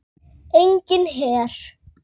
Enginn her.